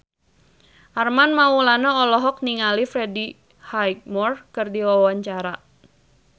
Armand Maulana olohok ningali Freddie Highmore keur diwawancara